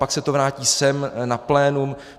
Pak se to vrátí sem na plénum.